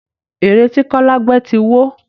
Ère ti kọ́lá gbẹ́ ti wó